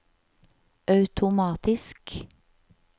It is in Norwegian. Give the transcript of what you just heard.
automatisk